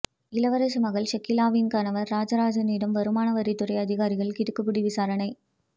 இளவரசி மகள் ஷகிலாவின் கணவர் ராஜராஜனிடம் வருமான வரித்துறை அதிகாரிகள் கிடுக்குப்பிடி விசாரணை